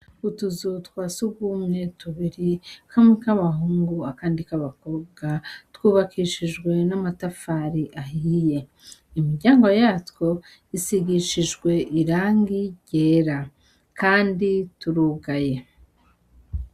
Utuzu twa surwumwe tubiri kamwe k'abahungu akandi k'abakobwa twubakishijwe n'amatafari ahiye imiryango yatwo isigishije irangi ryera kandi turugaye.